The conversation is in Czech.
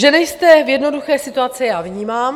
Že nejste v jednoduché situaci, já vnímám.